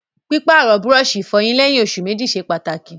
Pípàrọ̀ búrọ̀sì ìfọyín léyìn osù mẹ́jì ṣe pàtàkì